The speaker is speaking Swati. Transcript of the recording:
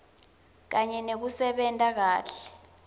kanye nekusebenta kahle